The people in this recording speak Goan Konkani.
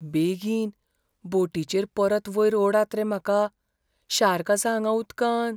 बेगीन! बोटीचेर परत वयर ओडात रे म्हाका, शार्क आसा हांगा उदकांत.